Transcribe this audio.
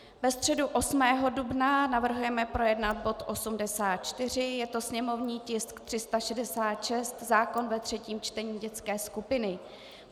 Ve středu 8. dubna navrhujeme projednat bod 84, je to sněmovní tisk 366, zákon ve třetím čtení, dětské skupiny.